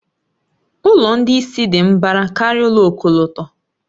Ụlọ ndị isi dị mbara karịa ụlọ ọkọlọtọ.